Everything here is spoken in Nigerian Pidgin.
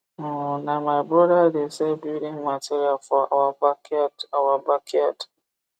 um na my broda de sell building material for our backyard our backyard